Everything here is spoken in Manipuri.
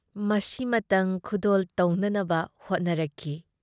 ꯃꯁꯤꯃꯇꯪ ꯈꯨꯗꯣꯜ ꯇꯧꯅꯅꯕ ꯍꯣꯠꯅꯔꯛꯈꯤ ꯫